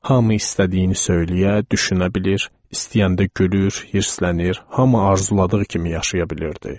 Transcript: Hamı istədiyini söyləyə, düşünə bilir, istəyəndə gülür, hirslənir, hamı arzuladığı kimi yaşaya bilirdi.